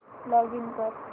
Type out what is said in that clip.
login कर